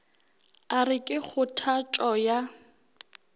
a re ke kgothatšo ya